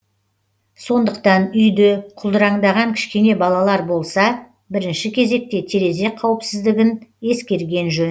сондықтан үйде құлдыраңдаған кішкене балалар болса бірінші кезекте терезе қауіпсіздігін ескерген жөн